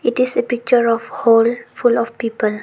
It is a picture of hall full of people.